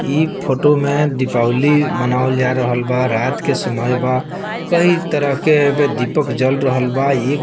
इ फोटो में दीपावली मनावल जा रहल बा रात के समय बा कई तरह के एमे दीपक जल रहल बा ए --